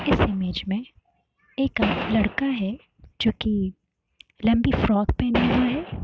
इस इमेज में एक लड़का है। जो कि लंबी फ्रॉक पहना हुआ है।